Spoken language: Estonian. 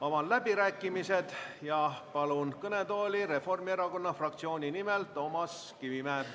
Avan läbirääkimised ja palun kõnetooli Reformierakonna fraktsiooni nimel Toomas Kivimägi.